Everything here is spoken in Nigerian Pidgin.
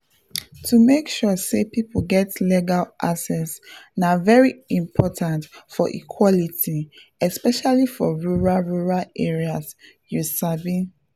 to make sure say people get legal access na very important for equality especially for rural rural areas you sabi.